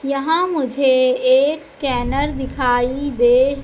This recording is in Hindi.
यहां मुझे एक स्कैनर दिखाई दे--